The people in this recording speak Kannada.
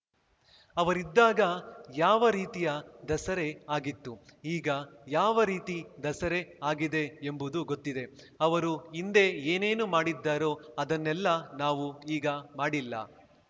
ಅವರಿದ್ದಾಗ ಯಾವ ರೀತಿಯ ದಸರೆ ಆಗಿತ್ತು ಈಗ ಯಾವ ರೀತಿ ದಸರೆ ಆಗಿದೆ ಎಂಬುದು ಗೊತ್ತಿದೆ ಅವರು ಹಿಂದೆ ಏನೇನು ಮಾಡಿದ್ದರೋ ಅದನ್ನೆಲ್ಲ ನಾವು ಈಗ ಮಾಡಿಲ್ಲ